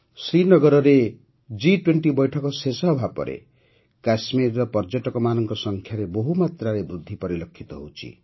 ଶ୍ରୀନଗରରେ ଜି୨୦ ବୈଠକ ଶେଷ ହେବା ପରେ କାଶ୍ମୀରରେ ପର୍ଯ୍ୟଟକମାନଙ୍କ ସଂଖ୍ୟାରେ ବହୁମାତ୍ରାରେ ବୃଦ୍ଧି ପରିଲକ୍ଷିତ ହେଉଛି